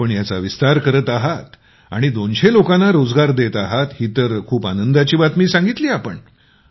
आपण याचा विस्तार करत आहात आणि २०० लोकांना रोजगार देत आहात ही तर खूप आनंदाची बातमी सांगितली आपण